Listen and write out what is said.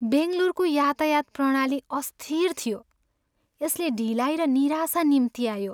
बङ्गलोरको यातायात प्रणाली अस्थिर थियो, यसले ढिलाइ र निराशा निम्त्यायो।